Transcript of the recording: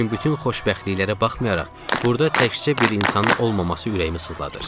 Lakin bütün xoşbəxtliklərə baxmayaraq burda təkcə bir insanın olmaması ürəyimi sızladır.